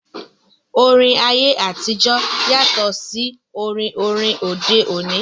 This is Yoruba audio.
Orin ayé àtijọ́ yàtọ̀ sí orin orin òde òní